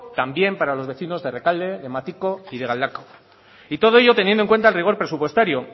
también para los vecinos de errekalde de matiko y de galdakao y todo ello teniendo en cuenta el rigor presupuestario